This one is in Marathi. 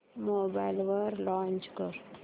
मोबाईल वर लॉंच कर